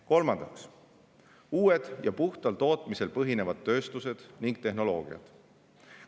Kolmandaks, uued ja puhtal tootmisel põhinevad tööstused ning tehnoloogiad.